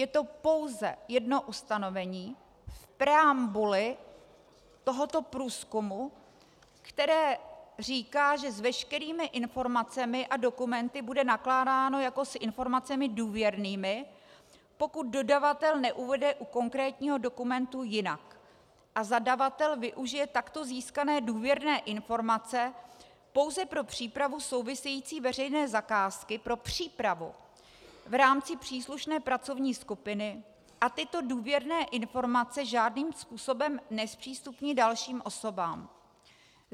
Je to pouze jedno ustanovení v preambuli tohoto průzkumu, které říká, že s veškerými informacemi a dokumenty bude nakládáno jako s informacemi důvěrnými, pokud dodavatel neuvede u konkrétního dokumentu jinak, a zadavatel využije takto získané důvěrné informace pouze pro přípravu související veřejné zakázky, pro přípravu v rámci příslušné pracovní skupiny a tyto důvěrné informace žádným způsobem nezpřístupní dalším osobám.